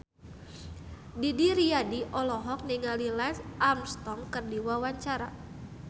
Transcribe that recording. Didi Riyadi olohok ningali Lance Armstrong keur diwawancara